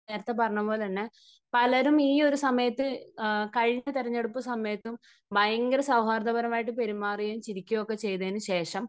നേരത്തെ പറഞ്ഞ പോലെ തന്നെ പലരും ഈയൊരു സമയത്തും കഴിഞ്ഞ തെരഞ്ഞെടുപ്പ് സമയത്തും ഭയങ്കര സൗഹാർദ്ദപരമായി പെരുമാറുകയും ചിരിക്കുകയും ഒക്കെ ചെയ്തതിനുശേഷം